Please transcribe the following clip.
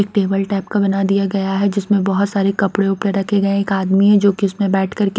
एक table type का बना दिया गया है जिसमें बहुत सारे कपड़े उपड़े रखे गए हैं एक आदमी है जो कि उसमें बैठ कर के --